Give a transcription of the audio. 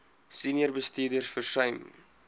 senior bestuurders versuim